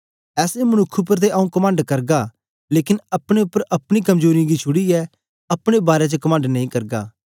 ऐसे मनुक्ख उपर ते आंऊँ कमंड करगा लेकन अपने उपर अपनी कमजोरीयें गी छुड़ीयै अपने बारै च कमंड नेई करगा